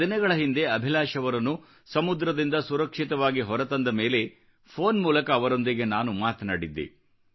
ಕೆಲ ದಿನಗಳ ಹಿಂದೆ ಅಭಿಲಾಷ್ ಅವರನ್ನು ಸಮುದ್ರದಿಂದ ಸುರಕ್ಷಿತವಾಗಿ ಹೊರ ತಂದ ಮೇಲೆ ಫೋನ್ ಮೂಲಕ ಅವರೊಂದಿಗೆ ನಾನು ಮಾತನಾಡಿದ್ದೆ